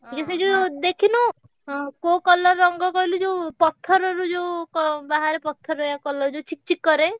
ହେ ସେ ଯୋଉ ଦେଖିନୁ କୋଉ colour ରଙ୍ଗ କହିଲୁ ପଥରୁ ଯୋଉ ବାହାରେ ପଥରିଆ colour ଯୋଉ ଚିକ ଚିକ କରେ।